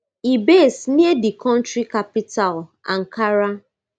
e base near di kontri capital ankara